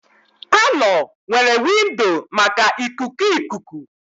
Palọ nwere windo maka ikuku ikuku